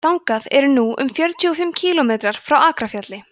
þangað eru nú um fjörutíu og fimm kílómetrar frá akrafjalli